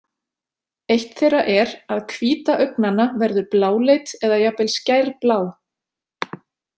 Eitt þeirra er að hvíta augnanna verður bláleit eða jafnvel skærblá.